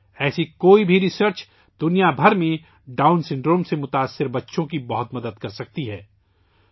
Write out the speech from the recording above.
ایسی کوئی بھی تحقیق دنیا بھر میں ڈاؤن سنڈروم میں مبتلا بچوں کے لئے بہت مددگار ثابت ہو سکتی ہے